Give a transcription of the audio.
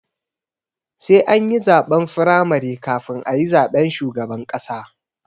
Sai ani zaɓen firamare kafin ayi zaben shugaban ƙasa